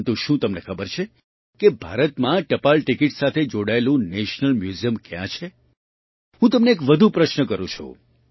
પરંતુ શું તમને ખબર છે કે ભારતમાં ટપાલ ટિકિટ સાથે જોડાયેલું નેશનલ મ્યૂઝિયમ ક્યાં છે હું તમને એક વધુ પ્રશ્ન કરું છું